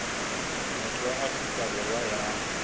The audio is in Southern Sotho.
motho wa afrika borwa ya